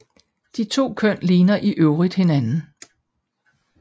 De to køn ligner i øvrigt hinanden